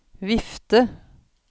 vifte